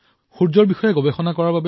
ই সূৰ্যৰ বিষয়ে অধ্যয়ন কৰে